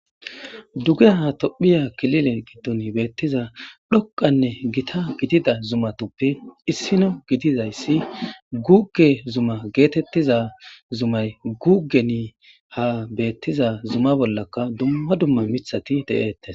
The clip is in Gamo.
dugeha tophiya kilile giddon beettiza dhokqanne gita gidida zumatoppe issino gidizayssi guge zuma geetettiza zumay gugeni ha beettiza zuma bollaka dumma dumma mithati de7eettes